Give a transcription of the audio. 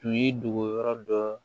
Tun ye dogo yɔrɔ dɔ